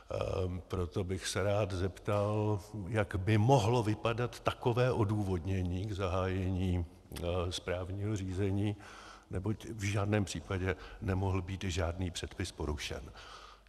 Proto bych se rád zeptal, jak by mohlo vypadat takové odůvodnění k zahájení správního řízení, neboť v žádném případě nemohl být žádný předpis porušen.